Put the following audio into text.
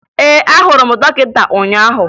Ee, ahụrụ m dọkịta ụnyaahụ